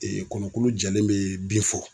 kɔnɔkulo jɛlen bɛ bi fɔ.